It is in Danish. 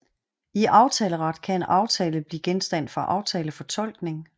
I aftaleret kan en aftale kan blive genstand for aftalefortolkning